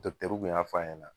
kun y'a f'a ɲana.